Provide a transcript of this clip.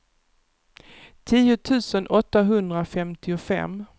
tio tusen åttahundrafemtiofem